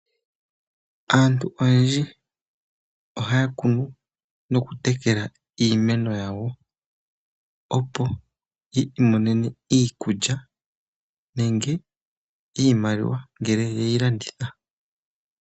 Aantu oyendji ohaya kunu nokutekela iimeno yawo , opo yiimonene iikulya nenge iimaliwa ngele yeyi landitha.